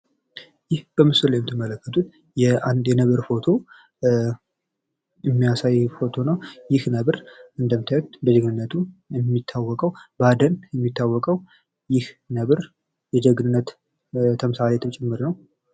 ይህ በምስሉ ላይ የምትመለከቱት የአንድ ነብር ፎቶ የሚያሳይ ፎቶ ነው። ይህ ነበር እንደምታዩት በጀግንነቱ የሚታወቀው፥ በአደን የሚታወቀው፥ ይህ ነብር የጀግንነት ተምሳሌም ጭምር ነው።